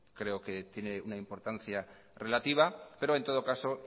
creo que tiene una importancia relativa pero en todo caso